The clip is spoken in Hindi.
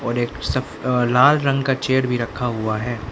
एक लाल रंग का चेयर भी रखा हुआ है।